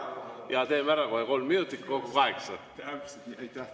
Jaa, teeme kohe ära, kolm minutit lisaks, kokku kaheksa.